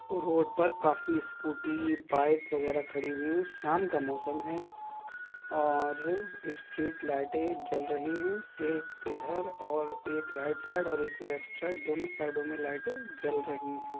Road पर काफी scooty bike वगैरा खड़ी हुई हैं शाम का मौसम हैं और स्ट्रीट लाइटें जल रही हैं एक इधर और एक राइट साइड और एक लेफ्ट साइड दोनों साइडों में लाइटें जल रही हैं।